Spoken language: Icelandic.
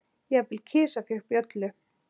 Jafnvel kisa fékk bjöllu.